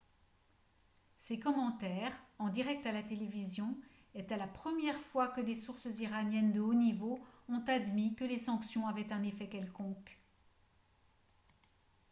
ces commentaires en direct à la télévision étaient la première fois que des sources iraniennes de haut niveau ont admis que les sanctions avaient un effet quelconque